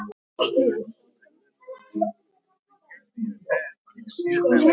Alltaf með allt á hreinu.